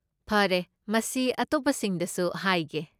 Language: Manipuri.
ꯐꯔꯦ, ꯃꯁꯤ ꯑꯇꯣꯞꯄꯁꯤꯡꯗꯁꯨ ꯍꯥꯏꯒꯦ꯫